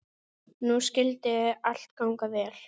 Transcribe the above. Nú skyldi allt ganga vel.